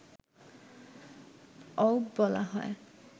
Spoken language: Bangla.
অউব বলা হয়